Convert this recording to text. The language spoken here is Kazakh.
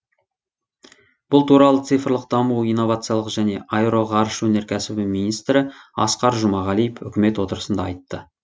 бұл туралы цифрлық даму инновациялар және аэроғарыш өнеркәсібі министрі асқар жұмағалив үкімет отырысында айтты